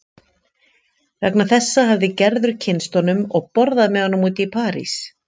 Vegna þessa hafði Gerður kynnst honum og borðað með honum úti í París.